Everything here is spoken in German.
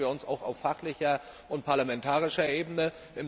Der stellen wir uns auf fachlicher und parlamentarischer Ebene.